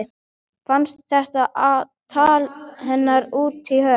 Fannst þetta tal hennar út í hött.